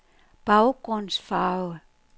baggrundsfarve